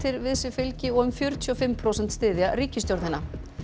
við sig fylgi og um fjörutíu og fimm prósent styðja ríkisstjórnina